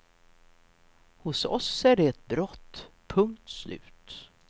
Hos oss är det ett brott, punkt slut.